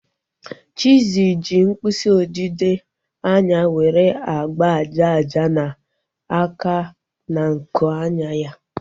Chizzy ji mkpịsị odide anya nwere agba aja aja na-aka na nku anya ya